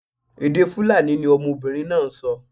Èdè Fulani ni ọmọbinrin naa n sọ